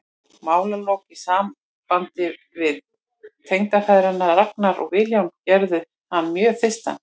Málalok í sambandi við tengdafeðgana Ragnar og Vilhjálm gerðu hann mjög þyrstan.